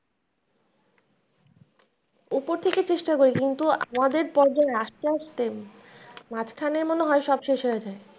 উপর থেকে চেষ্টা করি কিন্তু আমাদের পর্যায়ে আস্তে আস্তে মাঝখানে মনে হয় সব শেষ হয়ে যায়।